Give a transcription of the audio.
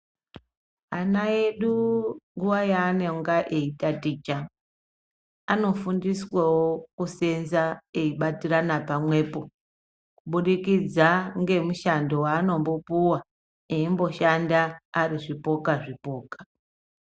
Ana edu nguwa yaanonga eyitaticha, anofundiswa wo kuseenza eyibatirana pamwepo, kubudikidza ngemushando wavanombo puwa, eyi mboshanda ari zvipoka-zvipoka.